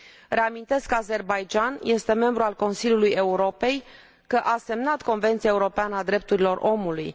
Reamintesc că Azerbaidjanul este membru al Consiliului Europei și că a semnat Convenția europeană a drepturilor omului.